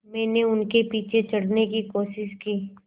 मैंने उनके पीछे चढ़ने की कोशिश की